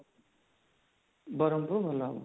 ବରମ୍ପୁର ଭଲ ହବ